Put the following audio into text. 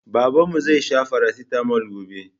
Babanmu zai sha Farasitamol gobe.